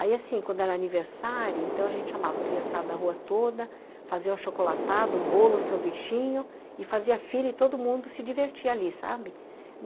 Aí assim, quando era aniversário, então a gente chamava a criançada da rua toda, fazia um achocolatado, um bolo, um sanduichinho, e fazia fila e todo mundo se divertia ali, sabe?